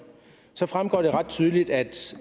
fremgår det ret tydeligt at hvis